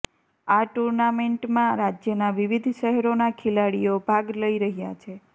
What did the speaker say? આ ટૂર્નામેન્ટમાં રાજયના વિવિધ શહેરોના ખેલાડીઓ ભાગ લઈ રહ્યા છે